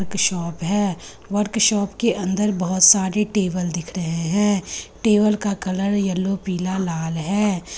एक शॉप है workshop के अंदर बहुत सारे टेबल दिख रहे हैं टेबल का कलर येलो पीला लाल है।